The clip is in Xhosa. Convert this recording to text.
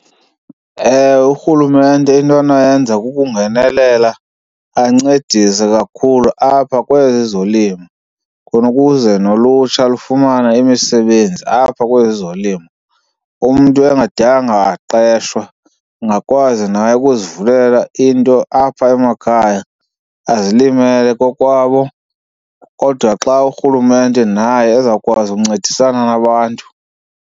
Ewe, urhulumente into anoyenza kukungenelela ancedise kakhulu apha kwezi zolimo khona ukuze nolutsha lufumane imisebenzi apha kwezi zolimo. Umntu engadanga waqeshwa, ungakwazi naye ukuzivulela into apha emakhaya azilimele kokwabo kodwa xa urhulumente naye ezawukwazi ukuncedisana nabantu.